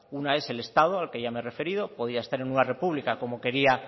una es el estado al que ya me he referido podía estar en nueva república como quería